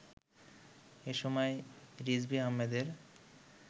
এসময়, রিজভী আহমেদের